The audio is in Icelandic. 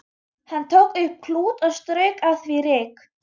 Hann tók upp klút og strauk af því ryk.